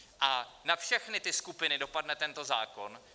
A na všechny ty skupiny dopadne tento zákon.